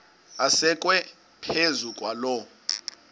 asekwe phezu kwaloo